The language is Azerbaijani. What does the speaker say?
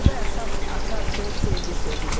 Burda əsas açar söz sevgi sözüdür.